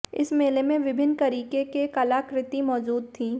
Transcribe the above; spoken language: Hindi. इस मेले में विभिन्न करीके के कलाकृति मौजूद थी